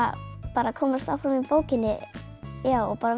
bara komast áfram í bókinni og